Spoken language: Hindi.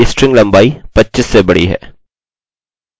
यदि इनमें से प्रत्येक वैल्यू 25 से ज्यादा या 25 से बड़ी है